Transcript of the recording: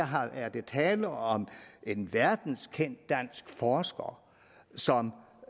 her er der tale om en verdenskendt dansk forsker som